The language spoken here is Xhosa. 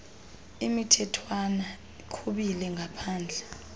imithethwana iqhubile ngaphambile